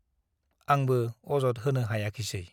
आंबो अजद होनो हायाखिसै ।